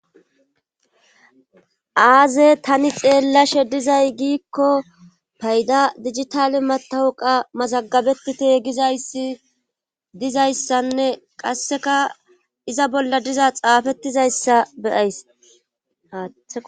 Aze tani xeellashe dizay giikko payda digitale matawuqa mazagabetite gizayssi dizayssanne qasseka iza bolla diza xaafettizayssa beyaysa